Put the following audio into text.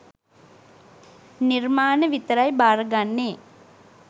නිර්මාණ විතරයි බාර ගන්නේ